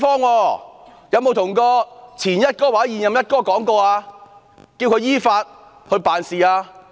她有否叫前"一哥"或現任"一哥"依法辦事呢？